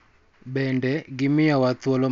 Bende, gimiyowa thuolo mar dongo kendo bedo gi chir.